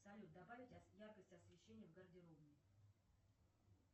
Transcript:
салют добавить яркость освещения в гардеробной